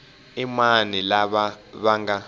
i mani lava va nga